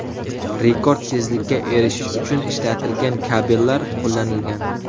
Rekord tezlikka erishish uchun ishlatilgan kabellar qo‘llanilgan.